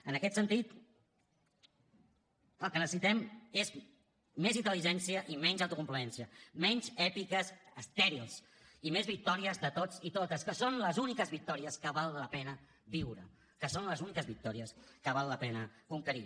en aquest sentit el que necessitem és més intel·ligència i menys autocomplaença menys èpiques estèrils i més victòries de tots i totes que són les úniques victòries que val la pena viure que són les úniques victòries que val la pena conquerir